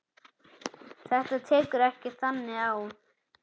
Þetta tekur ekki þannig á.